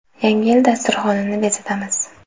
Yangi yil dasturxonini bezatamiz.